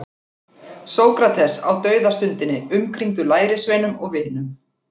Sókrates á dauðastundinni umkringdur lærisveinum og vinum.